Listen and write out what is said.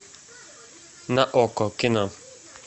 на окко кино